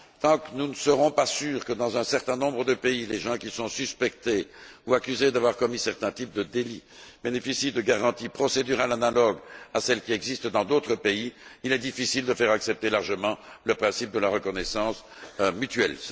Tant que nous ne serons pas sûrs que, dans un certain nombre de pays, les gens qui sont suspectés ou accusés d'avoir commis certains types de délits bénéficient de garanties procédurales analogues à celles qui existent dans d'autres pays, il sera difficile de faire accepter largement le principe de la reconnaissance mutuelle.